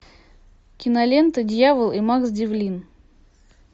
кинолента дьявол и макс девлин